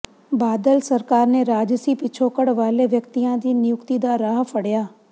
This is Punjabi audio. ਬਾਦਲ ਸਰਕਾਰ ਨੇ ਰਾਜਸੀ ਪਿਛੋਕਡ਼ ਵਾਲੇ ਵਿਅਕਤੀਆਂ ਦੀ ਨਿਯੁਕਤੀ ਦਾ ਰਾਹ ਫਡ਼ਿਆ